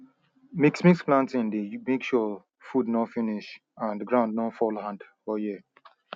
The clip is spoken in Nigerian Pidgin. mixmix planting dey make sure food nor finish and ground nor fall hand all year